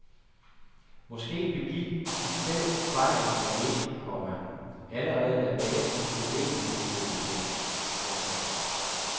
Måske begik de selv fejl nummer et, komma allerede da basens beliggenhed blev bestemt. punktum